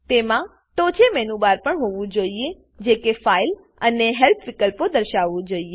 તેમાં ટોંચે menu bar પણ હોવું જોઈએ જે કે ફાઇલ ફાઈલ અને હેલ્પ હેલ્પ વિકલ્પો દર્શાવવું જોઈએ